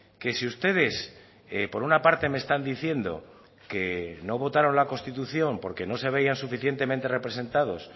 que si ustedes por una parte me están diciendo que no votaron la constitución porque no se veían suficientemente representados